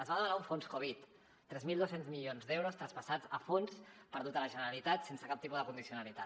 es va demanar un fons covid tres mil dos cents milions d’euros traspassats a fons perdut a la generalitat sense cap tipus de condicionalitat